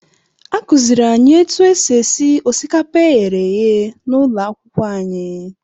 Akụziiri anyị otu esi esi osikapa e ghere eghe n'ụlọ akwụkwọ anyị.